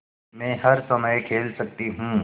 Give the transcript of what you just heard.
मै हर समय खेल सकती हूँ